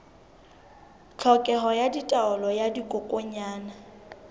tlhokeho ya taolo ya dikokwanyana